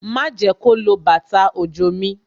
Ma jẹ́ kó lo bàtà òjò mi